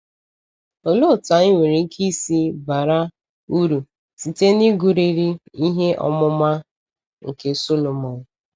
Olee otú anyị nwere ike isi bara uru site n’ịgụrịrị ihe ọmụma nke Sọlọmọn?